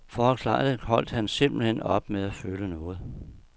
For at klare det holdt han simpelthen op med at føle noget.